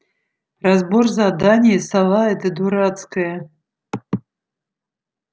разбор задания сова эта дурацкая